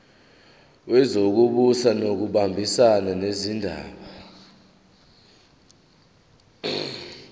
wezokubusa ngokubambisana nezindaba